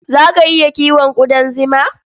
Za ka iya kiwon ƙudan zima?